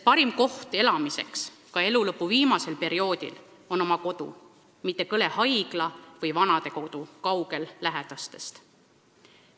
Parim koht elamiseks, ka elulõpu viimasel perioodil, on oma kodu, mitte kõle haigla või vanadekodu, kaugel lähedastest.